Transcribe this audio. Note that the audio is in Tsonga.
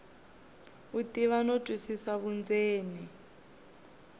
u tiva no twisisa vundzeni